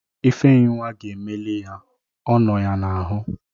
Ifenyinwa ga-emeli ya. Ọ nọ ya n'ahu